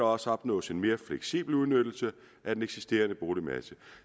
også opnås en mere fleksibel udnyttelse af den eksisterende boligmasse